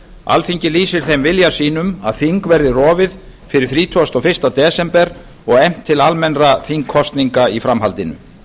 alþingi lýsir þeim vilja sínum að þing verði rofið fyrir þrítugasta og fyrsta desember og efnt til almennra þingkosninga í framhaldinu